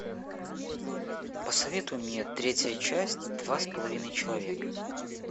посоветуй мне третья часть два с половиной человека